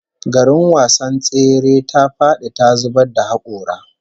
Garin wasan tsere ta fadi ta zubar da hakora